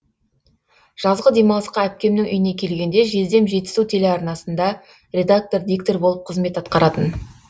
жазғы демалысқа әпкемнің үйіне келгенде жездем жетісу телеарнасында редактор диктор болып қызмет аткаратын